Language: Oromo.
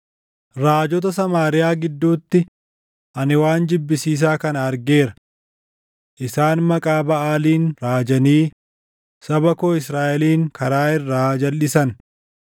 “Raajota Samaariyaa gidduutti, ani waan jibbisiisaa kana argeera: Isaan maqaa Baʼaaliin raajanii saba koo Israaʼelin karaa irraa jalʼisan.